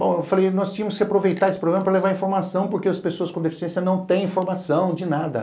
Bom, eu falei, nós tínhamos que aproveitar esse programa para levar informação, porque as pessoas com deficiência não têm informação de nada.